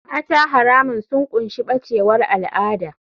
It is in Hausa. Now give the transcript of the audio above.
Mata haramun sun ƙunshi bacewar al'ada.